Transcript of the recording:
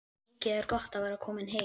Mikið er gott að vera komin heim!